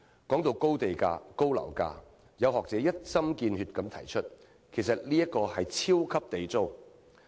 說到高地價、高樓價，有學者一針見血地指出，其實這是"超級地租"。